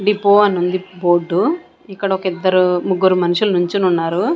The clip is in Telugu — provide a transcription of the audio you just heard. డిపో అని ఉంది బోర్డు ఇక్కడ ఒక ఇద్దరు ముగ్గురు మనుషులు నుంచొని ఉన్నారు.